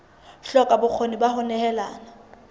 hloka bokgoni ba ho nehelana